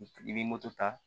I bɛ moto ta